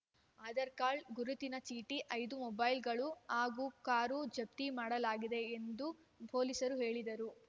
Aadhaar card ಗುರುತಿನ ಚೀಟಿ ಐದು ಮೊಬೈಲ್‌ಗಳು ಹಾಗೂ ಕಾರು ಜಪ್ತಿ ಮಾಡಲಾಗಿದೆ ಎಂದು ಪೊಲೀಸರು ಹೇಳಿದರು